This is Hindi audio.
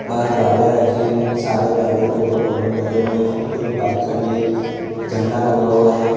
बाहर गाड़ियां रखी है सारी गाड़ियों के ऊपर बलून लगे हुए है कुछ बाइक खड़ी है झंडा लगा हुआ है।